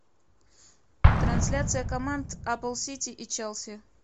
трансляция команд апл сити и челси